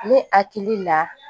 Ne hakili la